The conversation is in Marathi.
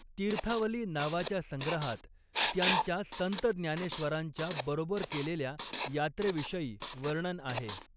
तीर्थावली नावाच्या संग्रहात त्यांच्या संत ज्ञानेश्वरांच्या बरोबर केलेल्या यात्रेविषयी वर्णन आहे.